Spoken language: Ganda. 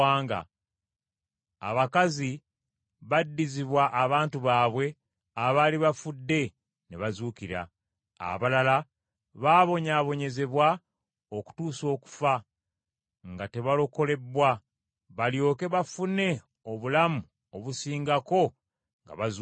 Abakazi baddizibwa abantu baabwe abaali bafudde ne bazuukira. Abalala baabonyaabonyezebwa okutuusa okufa, nga tebalokolebbwa, balyoke bafune obulamu obusingako nga bazuukidde.